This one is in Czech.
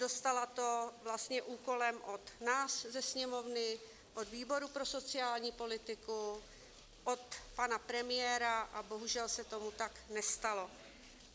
Dostala to úkolem od nás ze Sněmovny, od výboru pro sociální politiku, od pana premiéra, a bohužel se tomu tak nestalo.